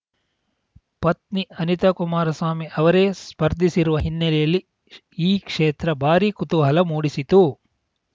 ಪತ್ನಿ ಅನಿತಾ ಕುಮಾರಸ್ವಾಮಿ ಅವರೇ ಸ್ಪರ್ಧಿಸಿರುವ ಹಿನ್ನೆಲೆಯಲ್ಲಿ ಈ ಕ್ಷೇತ್ರ ಭಾರೀ ಕುತೂಹಲ ಮೂಡಿಸಿತು